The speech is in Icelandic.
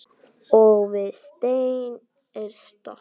Og við stein er stopp.